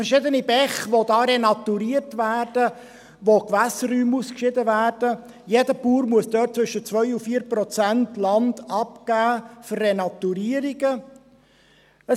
Es gibt verschiedene Bäche, die renaturiert werden, es werden Gewässerräume ausgeschieden, jeder Bauer muss zwischen 2 und 4 Prozent Land für Renaturierungen abgeben.